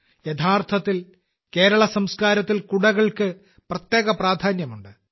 യഥാർത്ഥത്തിൽ കേരള സംസ്കാരത്തിൽ കുടകൾക്ക് പ്രത്യേക പ്രാധാന്യമുണ്ട്